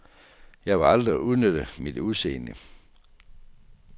Jeg ville aldrig udnytte mit udseende.